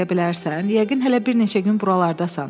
Yəqin hələ bir neçə gün buralardasan.